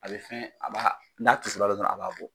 A bɛ fɛn a b'a n'a tisora dɔrɔn a b'a bɔ